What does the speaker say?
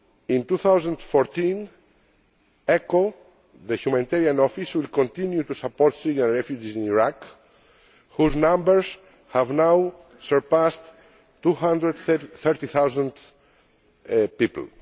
In 2014, ECHO, the humanitarian office, will continue to support Syrian refugees in Iraq, whose numbers have now surpassed 230000 people.